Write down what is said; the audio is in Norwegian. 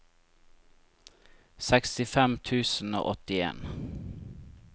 sekstifem tusen og åttien